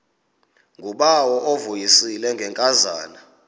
ngubawo uvuyisile ngenkazana